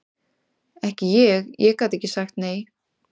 Ekki ég, ég gat ekki sagt nei.